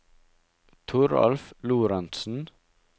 Toralf Lorentsen